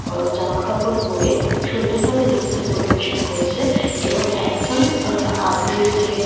উম জামাকাপড় পরে সুন্দরভাবে নৃত্য পরিবেশন করছে এবং একজন আ আবিরের চেয়ে--